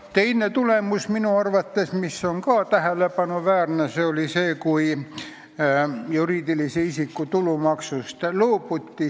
Teine asi, mis minu arvates oli ka tähelepanuväärne, oli see, kui loobuti juriidilise isiku tulumaksust.